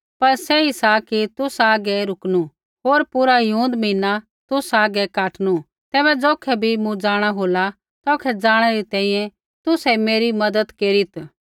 पर सही सा कि तुसा हागै रुकणु होर पूरा हिऊँद महीना तुसा हागै काटणू तैबै ज़ौखै भी मूँ जाँणा होला तौखै जाणै री तैंईंयैं तुसै मेरी मज़त केरीत्